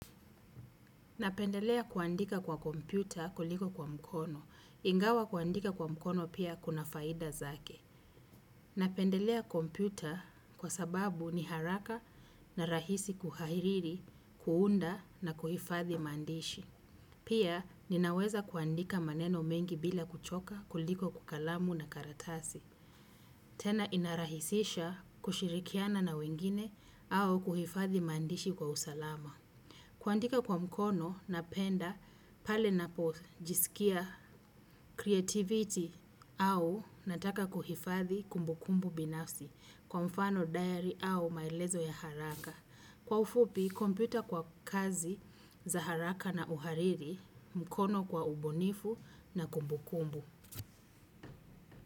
Napendelea kuandika kwa kompyuta kuliko kwa mkono. Ingawa kuandika kwa mkono pia kuna faida zake. Napendelea kompyuta kwa sababu ni haraka na rahisi kuhairiri, kuunda na kuhifathi maandishi. Pia ninaweza kuandika maneno mengi bila kuchoka kuliko kwa kalamu na karatasi. Tena inarahisisha kushirikiana na wengine au kuhifathi maandishi kwa usalama. Kwandika kwa mkono napenda pale napojisikia creativity au nataka kuhifathi kumbukumbu binafsi kwa mfano diary au maelezo ya haraka. Kwa ufupi, kompyuta kwa kazi za haraka na uhariri mkono kwa ubunifu na kumbukumbu.